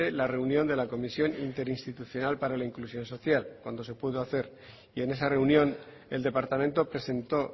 la reunión de la comisión interinstitucional para la inclusión social cuando se pudo hacer y en esa reunión el departamento presentó